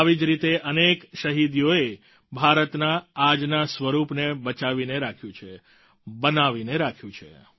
આવી જ રીતે અનેક શહીદીઓએ ભારતના આજના સ્વરૂપને બચાવીને રાખ્યું છે બનાવીને રાખ્યું છે